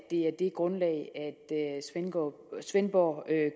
er det grundlag svendborg svendborg